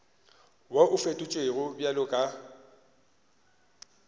wo o fetotšwego bjalo ka